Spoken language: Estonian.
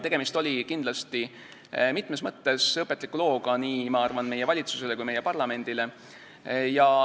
Tegemist oli kindlasti mitmes mõttes õpetliku looga nii, ma arvan, meie valitsusele kui ka meie parlamendile.